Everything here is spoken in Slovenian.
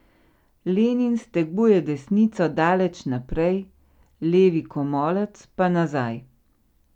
Lenin steguje desnico daleč naprej, levi komolec pa nazaj.